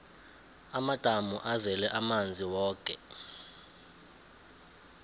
amadamu azele amanzi woke